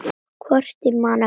Hvort ég man eftir þessu.